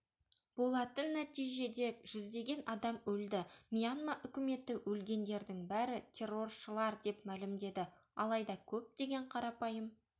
болатын нәтижеде жүздеген адам өлді мьянма өкіметі өлгендердің бәрі терроршылар деп мәлімдеді алайда көптеген қарапайым